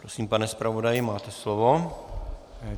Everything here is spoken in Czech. Prosím, pane zpravodaji, máte slovo.